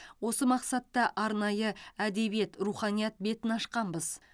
осы мақсатта арнайы әдебиет руханият бетін ашқанбыз